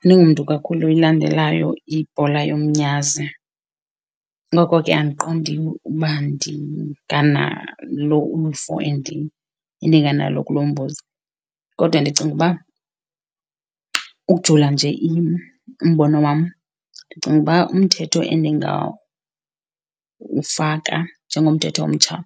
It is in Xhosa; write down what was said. Andingumntu kakhulu oyilandelayo ibhola yomnyazi ngoko ke andiqondi uba ndinganalo uluvo endinganalo kulo mbuzo. Kodwa ndicinga uba ukujula nje umbono wam, ndicinga uba umthetho endingawufaka njengomthetho omtsha